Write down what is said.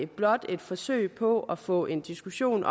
blot et forsøg på at få den diskussion